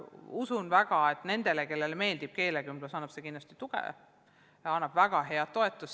Usun väga, et nendele, kellele meeldib keelekümblus, annab see kindlasti tuge, väga head toetust.